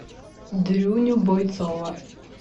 дрюню бойцова